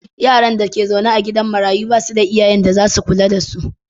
Yaran da ke zaune a gidan marayun ba su da iyayen da ze kula da su.